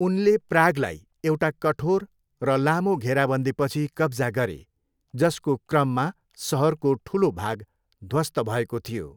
उनले प्रागलाई एउटा कठोर र लामो घेराबन्दीपछि कब्जा गरे जसको क्रममा सहरको ठुलो भाग ध्वस्त भएको थियो।